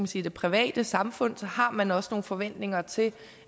sige private samfund så har man også nogle forventninger til